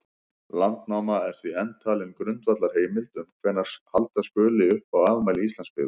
Landnáma er því enn talin grundvallarheimild um hvenær halda skuli upp á afmæli Íslandsbyggðar.